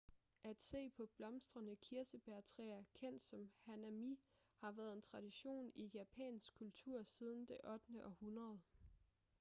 at se på blomstrende kirsebærtræer kendt som hanami har været en tradition i japansk kultur siden det 8. århundrede